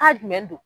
Ka jumɛn don